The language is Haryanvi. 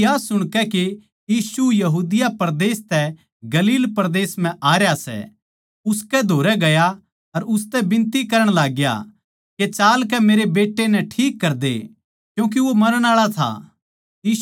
वो या सुणकै के यीशु यहूदिया परदेस तै गलील परदेस म्ह आ रहया सै उसकै धोरै गया अर उसतै बिनती करण लागग्या के चालकै मेरै बेट्टै नै ठीक कर दे क्यूँके वो मरण आळा था